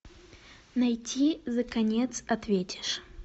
найти за конец ответишь